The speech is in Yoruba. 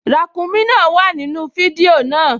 Ràǹkúnmí náà wà nínú fídíò náà